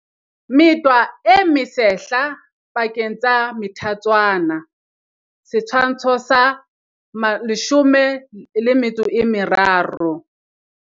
Metwa e mesehla pakeng tsa methatswana. Setshwantsho sa 13.